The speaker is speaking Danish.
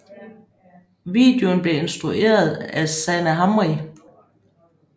Videoen blev instrueret af Sanaa Hamri